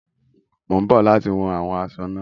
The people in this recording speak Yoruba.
Mo ń bọ̀ láti wọn àwọn asọ náà.